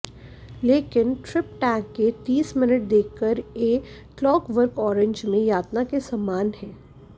लेकिन ट्रिपटैंक के तीस मिनट देखकर ए क्लॉकवर्क ऑरेंज में यातना के समान है